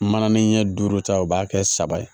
Mananin ɲɛ duuru ta u b'a kɛ saba ye